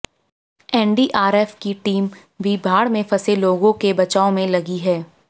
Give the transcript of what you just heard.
NDRF की team भी बाढ़ में फंसे लोगों क बचाव में लगी है